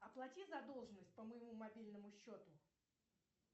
оплати задолженность по моему мобильному счету